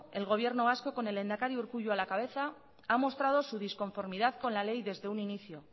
el gobierno vasco con el lehendakari urkullu a la cabeza ha mostrado su disconformidad con la ley desde un inicio